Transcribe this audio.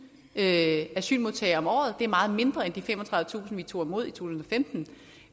asylmodtagere om året det er meget mindre end de femogtredivetusind vi tog imod i to tusind og femten